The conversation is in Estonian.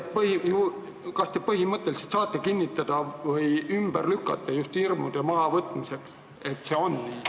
Kas te saate kinnitada või ümber lükata, just hirmude mahavõtmiseks, et see on nii?